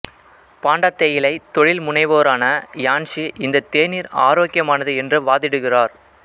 பாண்டா தேயிலை தொழில்முனைவோரான யான்ஷி இந்த தேநீர் ஆரோக்கியமானது என்று வாதிடுகிறார்